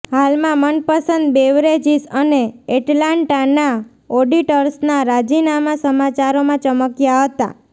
હાલમાં મનપસંદ બેવરેજિસ અને એટલાન્ટાના ઓડિટર્સના રાજીનામા સમાચારોમાં ચમક્યા હતા